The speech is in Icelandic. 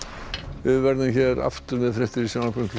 við verðum hér aftur með fréttir í sjónvarpinu klukkan